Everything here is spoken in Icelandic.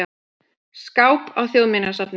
skáp á þjóðminjasafni.